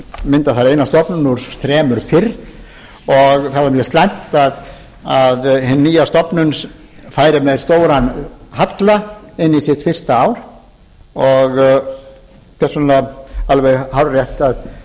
mynda þar eina stofnun úr þremur fyrr og það var mjög slæmt að hin nýja stofnun færi með stóran halla inn í sitt fyrsta ár og þess vegna alveg hárrétt